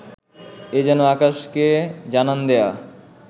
এ যেন আকাশকে জানান দেয়া